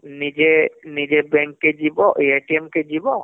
ନିଜେ ନିଜେ bank କେ ଯିବହମ୍ଏ କେ ଯିବ